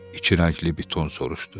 İki rəngli biton soruşdu.